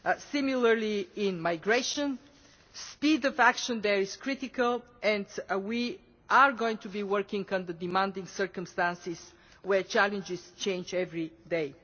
Similarly in migration speed of action there is critical, and we are going to be working under demanding circumstances, where challenges change every day.